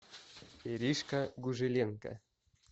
иришка гужеленко